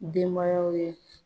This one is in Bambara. Denbayaw ye